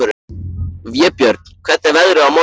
Vébjörn, hvernig er veðrið á morgun?